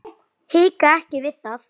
Hika ekki við það.